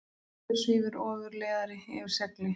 Hér svífur ofurleiðari yfir segli.